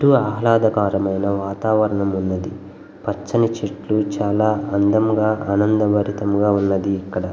ఎంతో ఆహ్లాదకరమైన వాతావరణం ఉన్నది. పచ్చని చెట్లు చాలా అందముగా ఆనందభరితముగా ఉన్నది ఇక్కడ.